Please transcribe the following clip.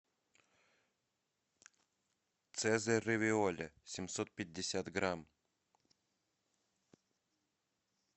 цезарь равиоли семьсот пятьдесят грамм